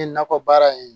nakɔ baara in